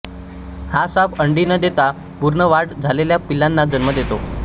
हा साप अंडी न देता पूर्ण वाढ झालेल्या पिल्लांना जन्म देतो